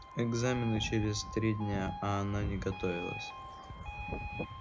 экзамены через три дня а она не готовилась